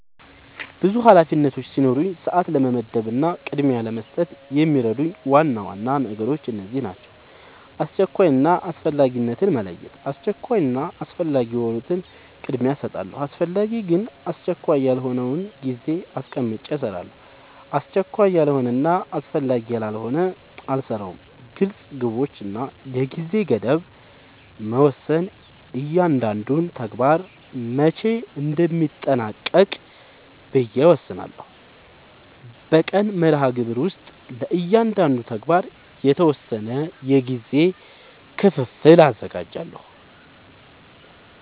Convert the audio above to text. ብዙ ኃላፊነቶች ሲኖሩኝ ሰዓት ለመመደብ እና ቅድሚያ ለመስጠት የሚረዱኝ ዋና ዋና ነገሮች እነዚህ ናቸው :-# አስቸኳይ እና አስፈላጊነትን መለየት:- አስቸኳይ እና አስፈላጊ የሆኑትን ቅድሚያ እሰጣለሁ አስፈላጊ ግን አስቸካይ ያልሆነውን ጊዜ አስቀምጨ እሰራለሁ አስቸካይ ያልሆነና አስፈላጊ ያልሆነ አልሰራውም # ግልፅ ግቦች እና የጊዜ ገደብ መወሰን እያንዳንዱን ተግባር መቼ እንደሚጠናቀቅ ብዬ እወስናለሁ በቀን መርሃግብር ውስጥ ለእያንዳንዱ ተግባር የተወሰነ የጊዜ ክፍል አዘጋጃለሁ